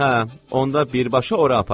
Hə, onda birbaşa ora aparın.